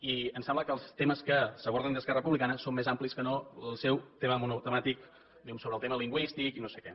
i em sembla que els temes que s’aborden des d’esquerra republicana són més amplis que no el seu tema monotemàtic diguem ne sobre el tema lingüístic i no sé què